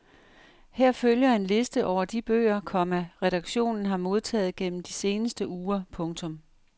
Her følger en liste over de bøger, komma redaktionen har modtaget gennem de seneste uger. punktum